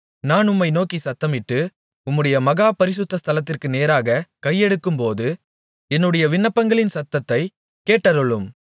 நான் உம்மை நோக்கிச் சத்தமிட்டு உம்முடைய மகா பரிசுத்த ஸ்தலத்திற்கு நேராகக் கையெடுக்கும்போது என்னுடைய விண்ணப்பங்களின் சத்தத்தைக் கேட்டருளும்